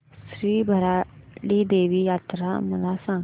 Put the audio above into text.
श्री भराडी देवी यात्रा मला सांग